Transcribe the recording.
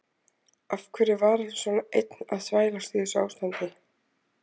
Af hverju var hann svona einn að þvælast í þessu ástandi?